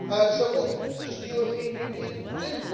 So what does the European Union do?